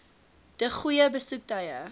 de goeie besoektye